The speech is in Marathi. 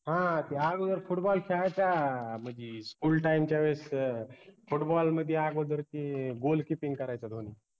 हां ते अगोदर football खेळायचा म्हनजी school time च्या वेळेस अं football मदि आगोदर ते goal kipring करायचा धोनी